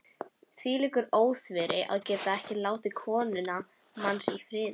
Hvílíkur óþverri, að geta ekki látið konuna manns í friði.